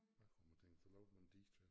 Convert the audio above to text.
Hvad kunne man tænke så lavet man en dige